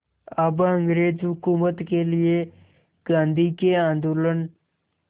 अब अंग्रेज़ हुकूमत के लिए गांधी के आंदोलन